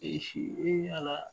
E ala.